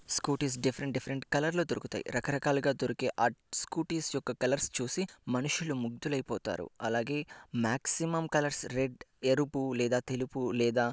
Scooty స్ different different colour లో దొరుకుతాయి రకరకాలుగా దొరికే ఆ స్కూటీ స్ యొక్క కలర్స్ చూసి మనుషులు ముగ్ధులైపోతారు. అలాగే మాక్సిమం కలర్స్ రెడ్ ఎరుపు లేదా తెలుపు లేదా --